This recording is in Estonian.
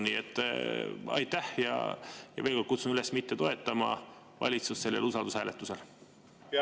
Nii et aitäh ja veel kord kutsun üles mitte toetama valitsust sellel usaldushääletusel!